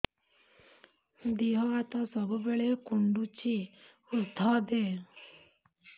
ଦିହ ହାତ ସବୁବେଳେ କୁଣ୍ଡୁଚି ଉଷ୍ଧ ଦେ